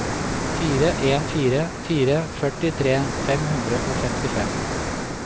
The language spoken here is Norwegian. fire en fire fire førtitre fem hundre og femtifem